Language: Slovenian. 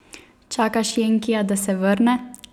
Čakaš jenkija, da se vrne?